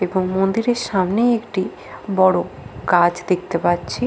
এবং মন্দিরের সামনে একটি বড় গাছ দেখতে পাচ্ছি।